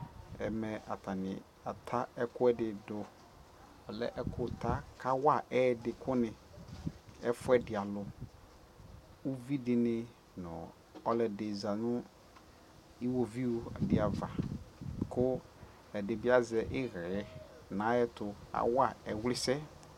Ɛmɛ atani ata ɛkʋɛdi dʋ ɔlɛ ɛkʋta kawa ɛɛdi kʋ ni ɛfuɛdi alʋ Uvidi ni nʋ ɔlʋɔdi zanʋ iwoviʋ dι ava kʋ ɛdi bi azɛ iɣɛɛ nʋ ayʋ ɛtʋ, awa ɛvlisɛ